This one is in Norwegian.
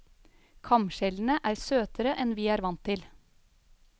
Kamskjellene er søtere enn vi er vant til.